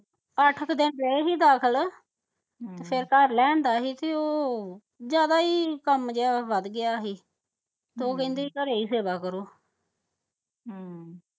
ਅੱਠ ਕਿ ਦਿਨ ਰਹੇ ਹੀ ਦਾਖਲ ਤੇ ਫਿਰ ਘਰ ਲੈ ਆਂਦਾ ਹੀ ਤੇ ਉਹ ਜਿਆਦਾ ਹੀ ਕੰਮ ਜਿਆ ਵੱਧ ਗਿਆ ਹੀ ਤੇ ਉਹ ਕਹਿੰਦੇ ਘਰੇ ਹੀ ਸੇਵਾ ਕਰੋ